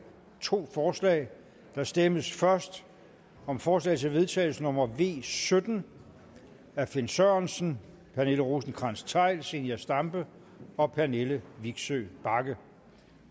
to forslag der stemmes først om forslag til vedtagelse nummer v sytten af finn sørensen pernille rosenkrantz theil zenia stampe og pernille vigsø bagge